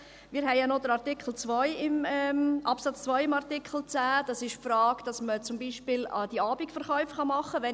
Wir haben ja noch den Absatz 2 im Artikel 10: die Frage, dass man zum Beispiel die Abendverkäufe machen kann.